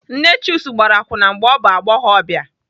Nne Chuks gbara akwụna mgbe ọ bụ agbọghọbịa.